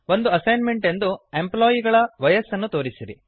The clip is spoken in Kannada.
ಒಂದು ಅಸೈನ್ಮೆಂಟ್ ಎಂದು ಎಂಪ್ಲಾಯಿ ಗಳ ವಯಸ್ಸನ್ನು ತೋರಿಸಿರಿ